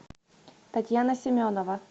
татьяна семенова